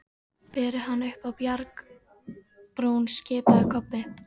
Berið hann upp á bjargbrún, skipaði Kobbi.